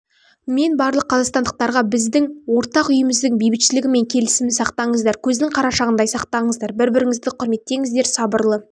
мен барлық қазақстандықтарға біздің ортақ үйіміздің бейбітшілігі мен келісімін сақтаңыздар көздің қарашығындай сақтаңыздар бір-біріңізді құрметтеңіздер сабырлы